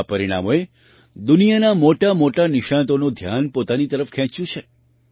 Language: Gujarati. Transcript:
આ પરિણામોએ દુનિયાના મોટામોટા નિષ્ણાતોનું ધ્યાન પોતાની તરફ ખેંચ્યું છે